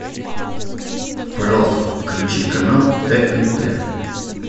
пожалуйста включи канал тнт